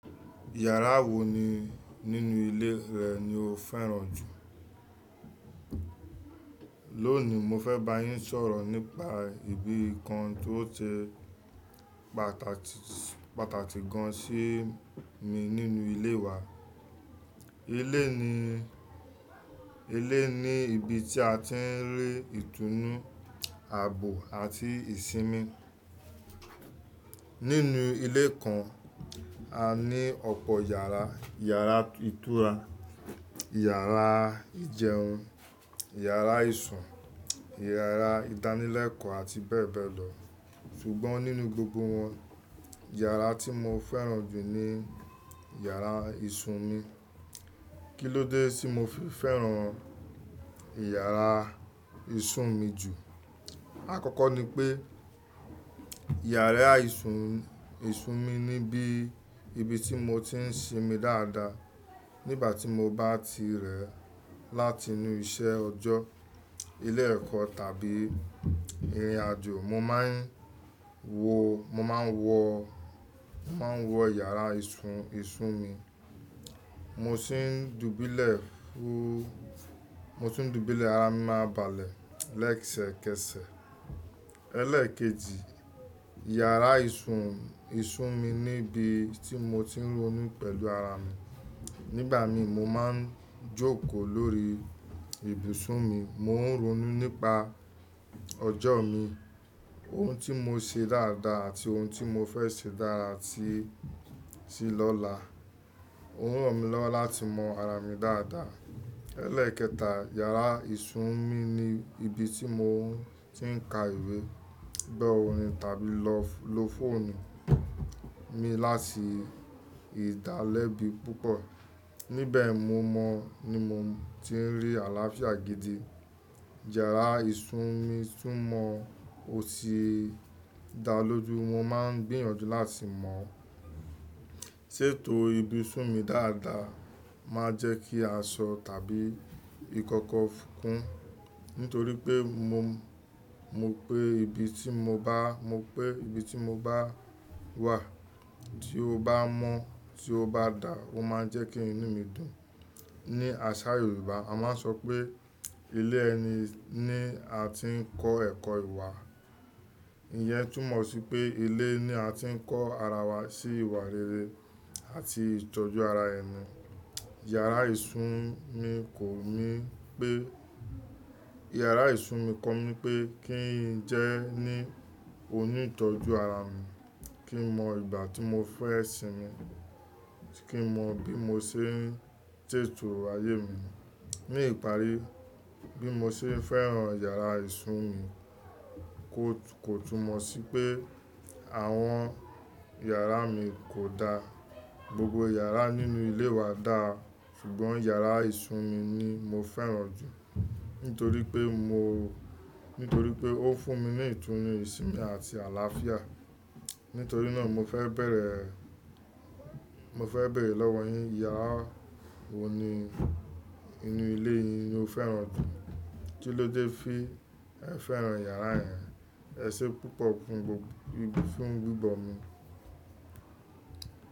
Yàrá wo ni nínú ilé rẹ ni o fẹ́ràn jù? Lónìí mo fẹ́ bá yín sọ̀rọ̀ nípa ibi kan tó ṣe pàtàkì, pàtàkì gan sí mi nínú ilé wa. Ilé ni, ilé ni ibi tí a ti ń rí ìtùnú, àbò àti ìsinmi. Nínú ilé kan, a ní ọ̀pọ̀ yàrá; yàrá ìtura, yàrá ìjẹun, yàrá ìsun, yàrá ìdánilẹ́kọ̀ọ́ àti bẹ́ẹ̀ bẹ́ẹ̀ lọ. Sugbọn nínú gbogbo wọn, yàrá tí mo fẹ́ràn jù ni yàrá ìsun mi. Kí ló dé tí mo fi fẹ́ràn yàrá ìsun mi jù? Àkọ́kọ́ ni pé, yàrá ìsun mi ni ibi tí mo ti ń sinmi dáadáa. Nígbà tí mo bá ti rẹ̀ láti inú iṣẹ́ ọjọ́, ilé ẹ̀kọ́ tàbí ìrìn àjò, mo máa ń wọ yàrá ìsun mi. Mo sì ń dùbúlẹ̀ ara mi máa balẹ̀ lẹ́ẹ̀sẹ̀kẹsẹ̀. Ẹlẹ́ẹ̀keji, yàrá ìsun mi ni ibi tí mo ti ń ronú pẹ̀lú ara mi. Nígbà mìí mo máa ń jókòó lórí ibùsùn mi, mo ń ronú nípa ọjọ́ mi, ohun tí mo ṣe dáadáa àti ohun tí mo fẹ́ ṣe dára sí lọ́la. Ó ń ràn mí lọ́wọ́ láti mọ ara mi dáadáa. Ẹlẹ́ẹ̀kẹta, yàrá ìsun mi ni ibi tí mo ti ń ka ìwé, gbọ orin tàbí lo fóònù mi láti ìdálẹ́bi púpọ̀. Níbẹ̀ ni mo ti ń rí àlàáfíà gidi. Yàrá ìsun mi tún mọ́ ó sì dá lójú. Mo máa ń gbìyànjú láti mọ̀, ṣètò ibùsùn mi dáadáa, máa jẹ́ kí aṣọ tàbí ìkọ́kọ́ fún, nítorí pé mo mọ pé ibi tí mo bá wà tí ó bá mọ́, tí ó bá dáa, ó máa jẹ́ kí inú mi dùn. Ni àṣà Yorùbá a máa ń sọ pé ilé ẹni ni a ti ń kọ́ ẹ̀kọ́ ìwà. Ìyẹn túmọ̀ sí pé ilé ni a ti ń kọ́ ara wa sí ìwà rere àti ìtọ́jú ara ẹni. Yàrá ìsun mi kò mi yàrá ìsun mi kọ mí pé kí n jẹ́ ní onítọ́jú ara mi, kí mọ ìgbà tí mo fẹ́ sinmi, kí mọ bí mo ṣe ń ṣètò ayé mi. Ní ìparí, bí mo ṣe ń fẹ́ràn yàrá ìsun mi kò tún mọ̀ sí pé àwọn yàrá mi kò dáa. Gbogbo yàrá nínú ilé wa dáa ṣùgbọ́n yàrá ìsun mi ni mo fẹ́ràn jù, nítorí pé ó fún mi ní ìtùnú, ìsinmi àti àlàáfíà. Nítorí náà mo fẹ́ bẹ̀rẹ̀, mo fẹ́ bẹ̀rẹ̀ lọ́wọ́ yín. Yàrá wo ni inú ilé yín ni o fẹ́ràn jù? Kí ló dé fi ẹ fẹ́ràn yàrá rẹ? Ẹ ṣé púpọ̀ fún gbígbọ mi.